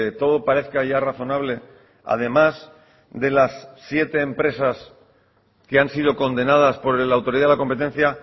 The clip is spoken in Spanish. todo parezca ya razonable además de las siete empresas que han sido condenadas por la autoridad de la competencia